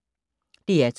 DR2